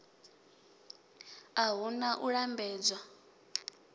a hu na u lambedzwa